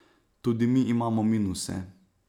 Tudi mi imamo minuse.